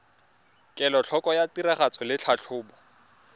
kelotlhoko ya tiragatso le tlhatlhobo